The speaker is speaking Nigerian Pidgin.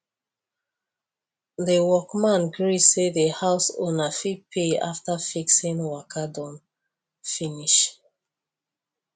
the workman gree say the house owner fit pay after the fixing waka don finish